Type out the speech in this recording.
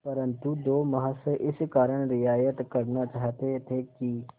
परंतु दो महाशय इस कारण रियायत करना चाहते थे कि